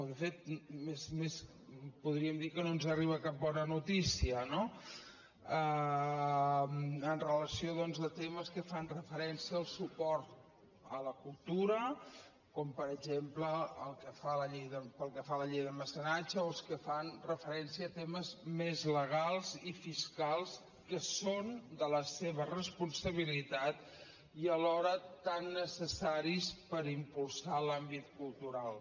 de fet podríem dir que no ens arriba cap bona notícia no amb relació doncs a temes que fan referència al suport a la cultura com per exemple pel que fa a la llei de mecenatge o els que fan referència a temes més legals i fiscals que són de la seva responsabilitat i alhora tan necessaris per impulsar l’àmbit cultural